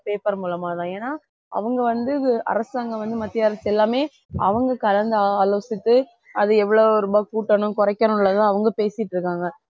paper மூலமா தான் ஏன்னா அவங்க வந்து வு~ அரசாங்கம் வந்து மத்திய அரசு எல்லாமே அவங்க கலந்து ஆலோசித்து அது எவ்வளவு ரொம்ப கூட்டணும் குறைக்கணும் உள்ளத அவங்க பேசிட்டு இருக்காங்க